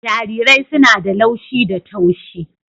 Jarirai suna da laushi da taushi